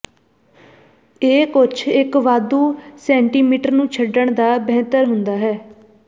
ਇਹ ਕੁਝ ਇੱਕ ਵਾਧੂ ਸੈਟੀਮੀਟਰ ਨੂੰ ਛੱਡਣ ਦਾ ਬਿਹਤਰ ਹੁੰਦਾ ਹੈ